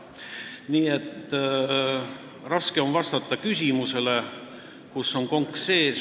Nii et raske on vastata küsimusele, kus on konks sees.